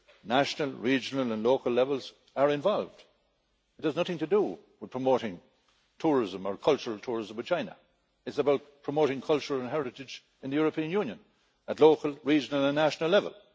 National, regional and local levels are involved. It has nothing to do with promoting tourism or cultural tourism with China, it's about promoting cultural heritage in the European Union at local, regional and national level.